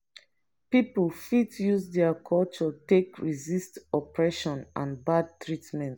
pipo fit use their culture take resist oppression and bad treatment